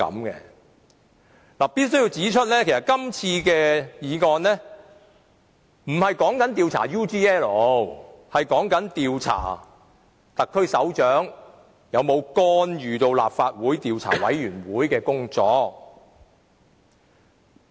我必須指出，這項議案不是要求調查 UGL 事件，而是要調查特區首長有否干預立法會專責委員會的工作。